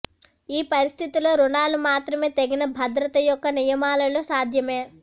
ఈ పరిస్థితిలో రుణాలు మాత్రమే తగిన భద్రతా యొక్క నియమాలలో సాధ్యమే